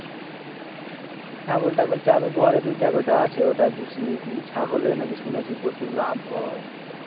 ছাগল টাগল ঘরে দুটা কটা আছে ওটাই ওইটাই পুষি কিন্তু ছাগল এ নাকি শুনেছি প্রচুর লাভ হয়